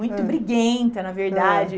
Muito briguenta, na verdade. Ãh, hum.